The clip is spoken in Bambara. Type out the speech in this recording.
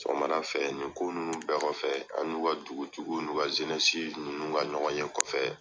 Sɔgɔmada fɛ nin ko ninnu bɛɛ kɔfɛ an ni u ka dugutigiw n'u ka ninnu ka ɲɔgɔnye ka kɔfɛ.